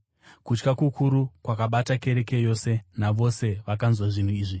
Kutya kukuru kwakabata kereke yose navose vakanzwa zvinhu izvi.